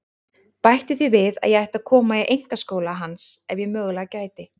Bætti því við að ég ætti að koma í einkaskóla hans ef ég mögulega gæti.